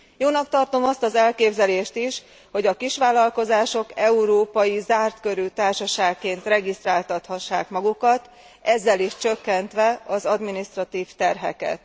Jónak tartom azt az elképzelést is, hogy a kisvállalkozások európai zártkörű társaságként regisztráltathassák magukat, ezzel is csökkentve az adminisztratív terheket.